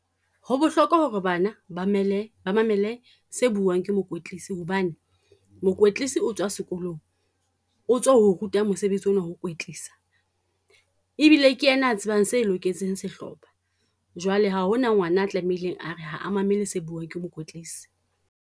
Ho bohlokwa ho re bana ba ba mmele ba mamele se buang ke mokwetlisi, hobane mokwetlisi o tswa sekolong. O tswa ruta mosebetsi o na wa ho kwetlisa, ebile ke ena a tsebang se loketseng sehlopha. Jwale ha hona ngwana a tlamehileng a re ha a mamele se buang ke mokwetlisi.